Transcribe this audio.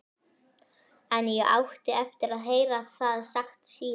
En ég átti eftir að heyra það sagt síðar.